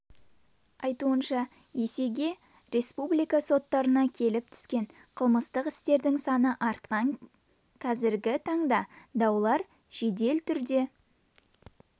айтуынша есеге республика соттарына келіп түскен қылмыстық істердің саны артқан қазіргі таңда даулар жедел түрде